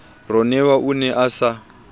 ronewa o ne a sa